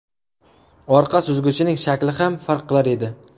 Orqa suzgichining shakli ham farq qilar edi.